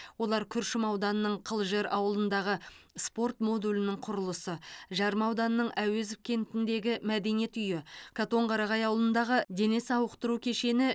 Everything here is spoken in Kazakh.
олар күршім ауданының қылжыр ауылындағы спорт модулінің құрылысы жарма ауданының әуезов кентіндегі мәдениет үйі катонқарағай ауылындағы дене сауықтыру кешені